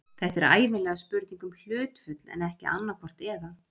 Þetta er ævinlega spurning um hlutföll en ekki annaðhvort eða.